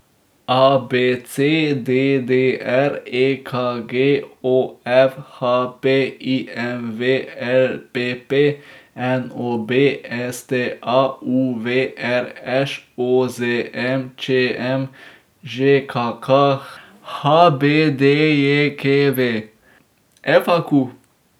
A B C; D D R; E K G; O F; H P; I M V; L P P; N O B; S T A; U V; R Š; O Z N; Č M; Ž K K; H B D J K V; F A Q.